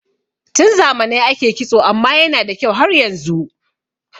Tun zamanai ake kitso amma yana da kyau har yanzu